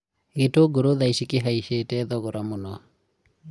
gĩtũngũrũ thaa ici kĩhaicite thogora mũno